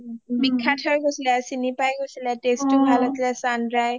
বিখ্যাত হৈ গৈছিলে আৰু চিনি পায় গৈছিলে, taste টো ভাল আছিলে sundry